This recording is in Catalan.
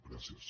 gràcies